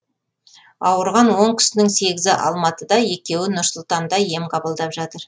ауырған он кісінің сегізі алматыда екеуі нұр сұлтанда ем қабылдап жатыр